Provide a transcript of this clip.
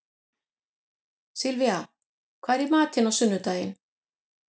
Sylvía, hvað er í matinn á sunnudaginn?